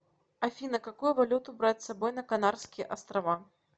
афина какую валюту брать с собой на канарские острова